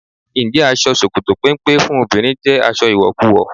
Ǹjẹ́ aṣọ ṣòkòtò péńpé fún obìnrin jẹ́ aṣọ ìwọ̀kuwọ̀?